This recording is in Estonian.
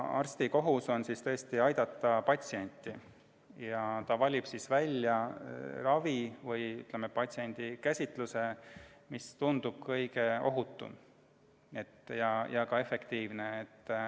Arsti kohus on patsienti aidata ja ta valib välja sellise ravi või patsiendi käsitluse, mis tundub kõige ohutum ja ühtlasi efektiivne.